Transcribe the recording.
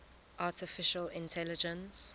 artificial intelligence